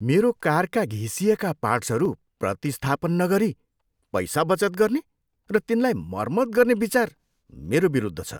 मेरो कारका घिसिएका पार्ट्सहरू प्रतिस्थापन नगरी पैसा बचत गर्ने र तिनलाई मर्मत गर्ने विचार मेरो विरुद्ध छ।